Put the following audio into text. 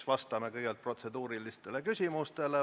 Vastame siis kõigepealt protseduurilistele küsimustele.